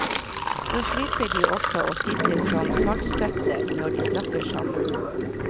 Så slipper de også å sitte som saltstøtter når de snakker sammen.